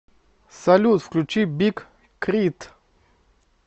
салют включи биг к р и т